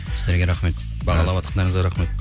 сіздерге рахмет бағалаватқандырызға рахмет